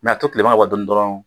a to kilema ka bɔ dɔɔni dɔrɔn